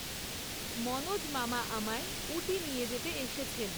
মনোজ মামা আমায় ঊটি নিয়ে যেতে এসেছেন!